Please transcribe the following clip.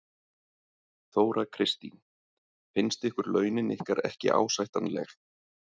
Þóra Kristín: Finnst ykkur launin ykkar ekki ásættanleg?